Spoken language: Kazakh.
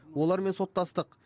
олармен соттастық